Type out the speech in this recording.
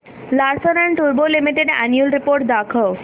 Larsen and टुर्बो limited annual report दाखव